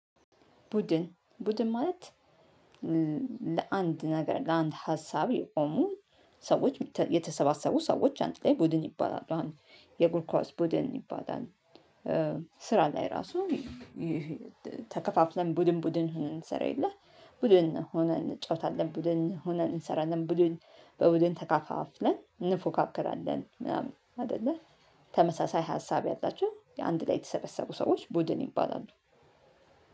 ቡድን ቡድን ማለት ለአንድ ነገር ለአንድ ሀሳብ የቆሙ ሰዎች የተሰባሰቡ ሰዎች አንድ ላይ ቡድን ይባላሉ። አሁን የእግር ኳስ ቡድን ይባላል። ስራ ላይ ራሱ ተከፋፍለን ቡድን ቡድን ሆነን እንሰራ የለ ቡድን ሆነን እንጫወታለን። ቡድን ሆነን እንሰራለን ቡድን በቡድን ተከፋፍለን እንፎካከራለን ምናምን አይደለ። ተመሳሳይ ሀሳብ ያላችው አንድ ላይ የተሰበሰቡ ሰዎች ቡድን ይባላሉ